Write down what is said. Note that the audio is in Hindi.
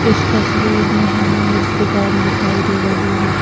इस तस्वीर में हमें एक दुकान दिखाई दे रही है।